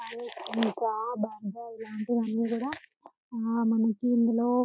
Pizza బర్గర్లాంటివి అన్ని కూడా మనకి అందులో.